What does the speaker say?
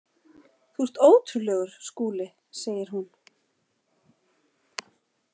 Þú ert ótrúlegur, Skúli, segir hún.